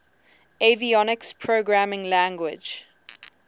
avionics programming language